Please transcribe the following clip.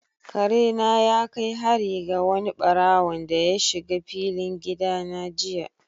Kare na ya kai hari ga wani ɓarawonda ya shiga filin gida na jiya.